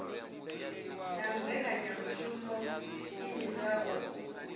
na mmbekanyamushumo i vhidzwaho u